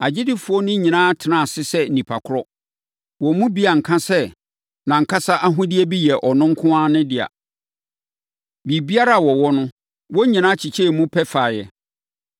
Agyidifoɔ no nyinaa tenaa ase sɛ nnipa korɔ. Wɔn mu bi anka sɛ nʼankasa ahodeɛ bi yɛ ɔno nko ara dea; biribiara a wɔwɔ no, wɔn nyinaa kyekyɛɛ mu pɛ faeɛ.